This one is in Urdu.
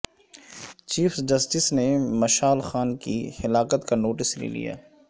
چیف جسٹس نے مشال خان کی ہلاکت کا نوٹس لے لیا